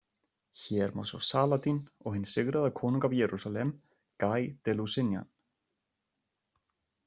Hér má sjá Saladín og hinn sigraða konung af Jerúsalem, Guy de Lusignan.